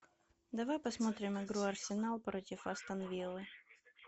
давай посмотрим игру арсенал против астон виллы